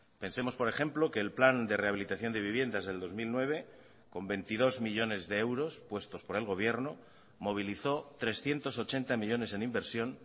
pensemos por ejemplo que el plan de rehabilitación de viviendas del dos mil nueve con veintidós millónes de euros puestos por el gobierno movilizó trescientos ochenta millónes en inversión